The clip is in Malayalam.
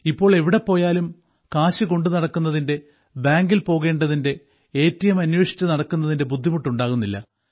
ഇപ്പോൾ എവിടെ പോയാലും കാശ് കൊണ്ടുനടക്കുന്നതിന്റെ ബാങ്കിൽ പോകേണ്ടതിന്റെ എ ടി എം അന്വേഷിച്ചു നടക്കുന്നതിന്റെ ബുദ്ധിമുട്ട് ഉണ്ടാകുന്നില്ല